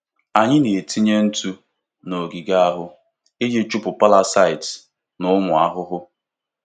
Anyị na-etinye ntụ n'ogige ahụ iji chụpụ parasites na ụmụ ahụhụ.